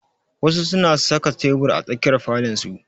Wasu su na saka tebur a tsakiyar falon su